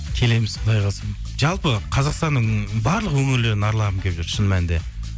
келеміз құдай қаласа жалпы қазақстанның барлық өңірлерін аралағым келіп жүр шын мәнінде